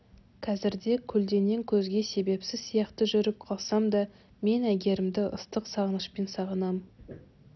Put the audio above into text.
қазірде көлденең көзге себепсіз сияқты жүріп қалсам да мен әйгерімді ыстық сағынышпен сағынамын